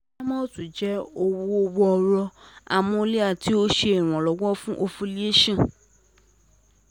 Primolut jẹ oogun woro hormonal ti o ṣe Ìrànlọ́wọ́ fun ovulation